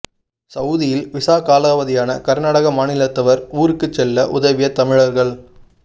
சவுதியில் விசா காலாவதியான கர்நாடக மாநிலத்தவர் ஊருக்கு செல்ல உதவிய தமிழர்கள்